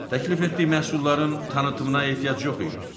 Təklif etdiyi məhsulların tanıtımına ehtiyac yox idi.